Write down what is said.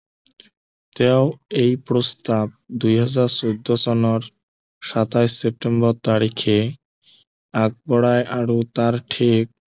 তেওঁ এই প্ৰস্তাৱ দুই হাজাৰ চৈধ্য় চনৰ সাতাইশ চেপ্তেম্বৰ তাৰিখে আগবঢ়াই আৰু তাৰ ঠিক